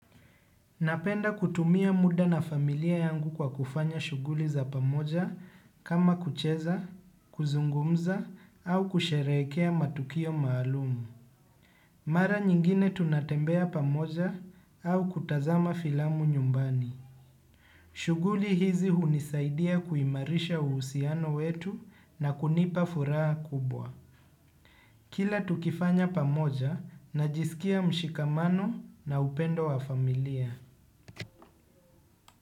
Napenda kutumia muda na familia yangu kwa kufanya shughuli za pamoja kama kucheza, kuzungumza au kusherehekea matukio maalumu. Mara nyingine tunatembea pamoja au kutazama filamu nyumbani. Shughuli hizi hunisaidia kuimarisha uhusiano wetu na kunipa furaha kubwa. Kila tukifanya pamoja najisikia mshikamano na upendo wa familia.